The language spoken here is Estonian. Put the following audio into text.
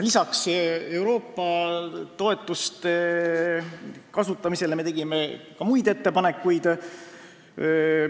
Lisaks ettepanekule Euroopa Liidu toetuste kohta tegime ka muid ettepanekuid.